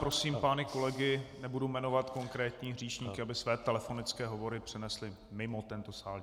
Prosím pány kolegy, nebudu jmenovat konkrétní hříšníky, aby své telefonické hovory přenesli mimo tento sál.